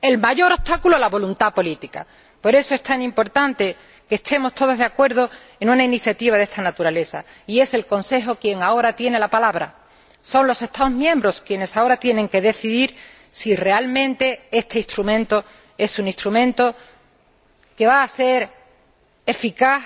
El mayor obstáculo, la voluntad política. Por eso es tan importante que estemos todos de acuerdo en una iniciativa de esta naturaleza, y es el Consejo quien ahora tiene la palabra, son los Estados miembros quienes ahora tienen que decidir si realmente este instrumento es un instrumento que va a ser eficaz